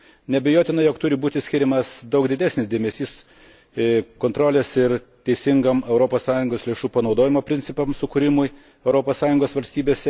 Neabejotina, jog turi būti skiriamas daug didesnis dėmesys kontrolės ir teisingo Europos Sąjungos lėšų panaudojimo principų sukūrimui Europos Sąjungos valstybėse.